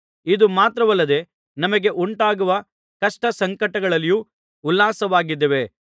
ಇದು ಮಾತ್ರವಲ್ಲದೆ ನಮಗೆ ಉಂಟಾಗುವ ಕಷ್ಟಸಂಕಟಗಳಲ್ಲಿಯೂ ಉಲ್ಲಾಸವಾಗಿದ್ದೇವೆ